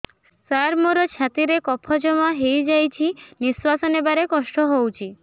ସାର ମୋର ଛାତି ରେ କଫ ଜମା ହେଇଯାଇଛି ନିଶ୍ୱାସ ନେବାରେ କଷ୍ଟ ହଉଛି